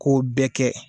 K'o bɛɛ kɛ